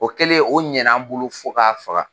O kɛlen o ɲɛna bolo fo k'a faga.